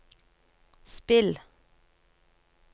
spill